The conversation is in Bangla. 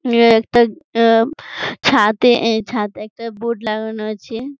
একটা ছাদে ছাদে একটা বোর্ড লাগানো আছে ।